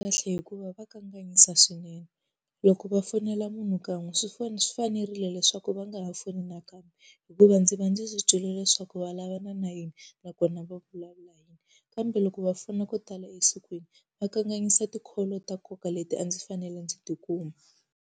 Kahle hikuva va kanganyisa swinene. Loko va fonela munhu kan'we swi swi fanerile leswaku va nga ha foni nakambe, hikuva ndzi va ndzi swi twile leswaku va lavana na yini nakona va vulavula . Kambe loko va fona ko tala esikwini, va kanganyisa ti-call ta nkoka leti a ndzi fanele ndzi tikuma.